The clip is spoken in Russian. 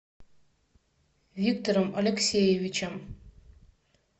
виктором алексеевичем